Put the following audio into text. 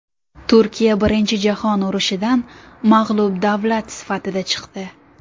Turkiya Birinchi jahon urushidan mag‘lub davlat sifatida chiqdi.